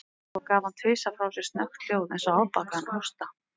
Svo gaf hann tvisvar frá sér snöggt hljóð, eins og afbakaðan hósta.